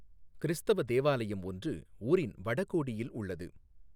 கிறிஸ்தவ தேவாலயம் ஒன்று ஊரின் வடகோடியில் உள்ளது.